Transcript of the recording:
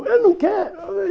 Eu não quero.